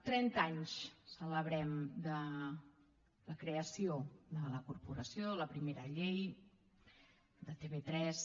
trenta anys celebrem de la creació de la corporació de la primera llei de tv3